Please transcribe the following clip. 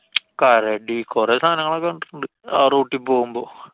കരടി. കൊറേ സാധനങ്ങളെ ഒക്കെ കണ്ടിട്ടുണ്ട് ആ route ല്‍ പോവുമ്പോ.